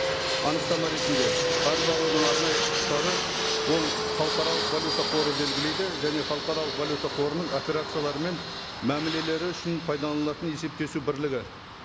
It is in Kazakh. анықтама ретінде қарыз алудың арнайы құқықтары ол халықаралық валюта қоры белгілейді және халықаралық валюта қорының операциялары мен мәмілелері үшін пайдаланылатын есептесу бірлігі